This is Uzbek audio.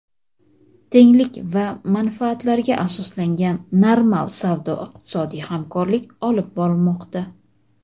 tenglik va manfaatlarga asoslangan normal savdo-iqtisodiy hamkorlik olib bormoqda.